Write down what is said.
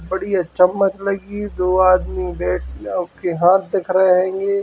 बढ़िया चमच्च लगी है दो आदमी बैठ उनके हाथ दिख रहे हेंगे ।